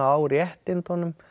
á réttindunum